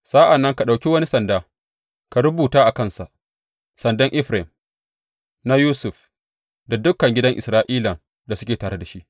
Sa’an nan ka ɗauki wani sanda, ka rubuta a kansa, Sandan Efraim, na Yusuf da dukan gidan Isra’ilan da suke tare da shi.’